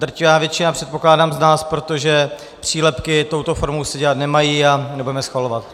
Drtivá většina - předpokládám - z nás, protože přílepky touto formou se dělat nemají a nebudeme schvalovat.